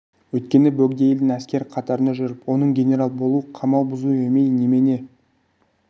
өйткені бөгде елдің әскері қатарында жүріп оның генерал болу қамал бұзу емей немене